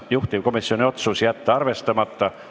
Juhtivkomisjoni otsus: jätta arvestamata.